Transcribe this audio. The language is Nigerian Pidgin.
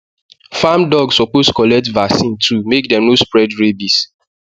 farm dog suppose collect vaccine too make dem no spread rabies